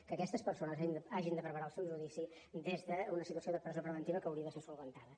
que aquestes persones hagin de preparar el seu judici des d’una situació de presó preventiva que hauria de ser corregida